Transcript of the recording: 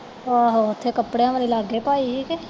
ਆਹੋ ਉੱਥੇ ਕੱਪੜਿਆਂ ਵਾਲੀ ਲਾਗੇ ਪਾਈ ਹੈ ਕਿ